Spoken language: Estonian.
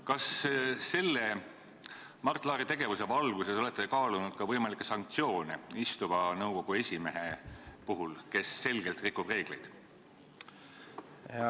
Kas te Mart Laari tegevuse valguses olete kaalunud ka võimalikke sanktsioone nõukogu esimehe vastu, kes selgelt on reegleid rikkunud?